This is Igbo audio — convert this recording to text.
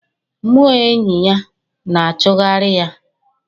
mmụọ enyi ya na-achụgharị ya